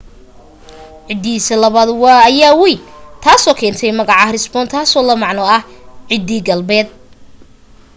ciddidiisa labaad ayaa wayn taasoo keentay magaca hesperonychus taasoo la macno ah ciddi galbeedeed